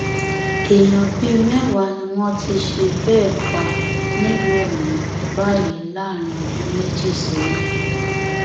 èèyàn bíi mẹwàá ni wọn ti ṣe bẹẹ pa nílùú ohun báyìí láàrin ọdún méjì sẹyìn